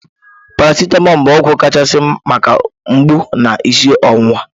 Paracitamọl bụ ọgwụ kachasị maka mgbu na isi ọwụwa